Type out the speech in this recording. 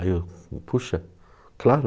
Aí eu, poxa, claro.